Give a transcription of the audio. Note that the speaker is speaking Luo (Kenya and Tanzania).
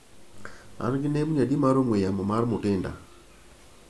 An gi nembni adi mar ong'we yamo mag Mutinda?